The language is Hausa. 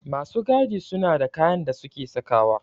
Masu gadi ma suna da kayan da suke sawa